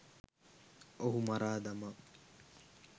ඔහු මරා දමා